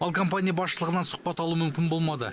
ал компания басшылығынан сұхбат алу мүмкін болмады